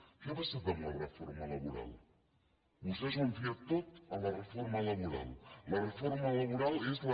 què ha passat amb la reforma laboral vostès ho han fiat tot a la reforma laboral la reforma laboral és la